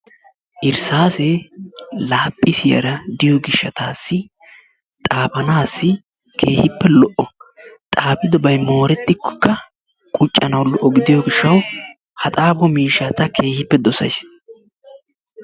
Irssaasee laaphisiyaara de'iyoo giishshatassi xaafanaassi keehippe lo"o. xaafidobay moorettikoka quccanawu lo"o gidiyoo giishshawu ha xaafo miishshaa ta keehippe doosays.